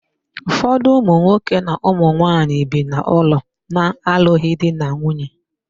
Ụfọdụ ụmụnwoke na ụmụnwaanyi bi n'ụlọ na-alụghị di na nwunye.